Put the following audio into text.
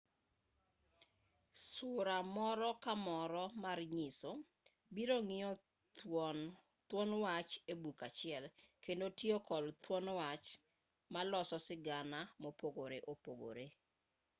sura moro ka moro mar nyiso biro ng'iyo thuon wach e buk achiel kendo tiyo kod thuon wach malos sigana mopogoreopogore.